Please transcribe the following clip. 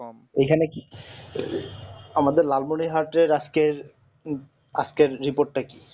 এখানে কি আমাদের লালমনিহাটের আজকে আজকের report টা কি